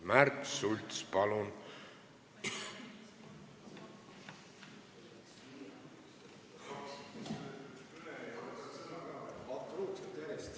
Märt Sults, palun!